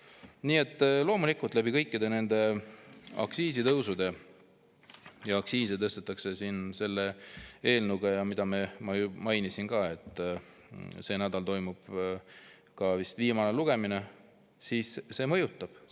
Nii et loomulikult, kõik need aktsiisitõusud mõjutavad, ja aktsiise tõstetakse selle eelnõuga, mida ma mainisin ja mille lugemine toimub sel nädalal.